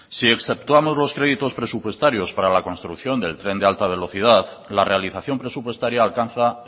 si exceptuamos los créditos presupuestarios para la construcción del tren de alta velocidad la realización presupuestaria alcanza